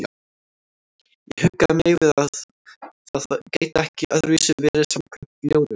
Ég huggaði mig við að það gæti ekki öðruvísi verið samkvæmt ljóðinu.